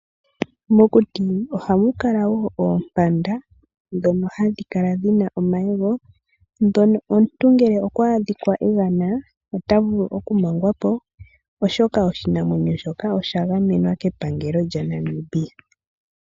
Mokuti ohamu kala wo Oompanda ndhono hadhi kala dhina omayego ndhono omuntu ngele okwa adhika egana ota vulu okumangwapo, oshoka oshinamwenyo shoka oshagamenwa kepangelo lyaNamibia.